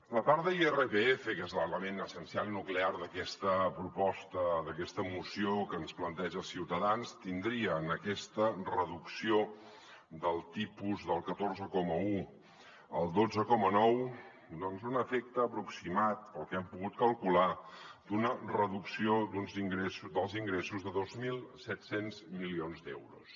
la part d’irpf que és l’element essencial i nuclear d’aquesta proposta d’aquesta moció que ens planteja ciutadans tindria en aquesta reducció del tipus del catorze coma un al dotze coma nou doncs un efecte aproximat pel que hem pogut calcular d’una reducció dels ingressos de dos mil set cents milions d’euros